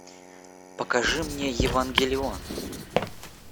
покажи мне евангелион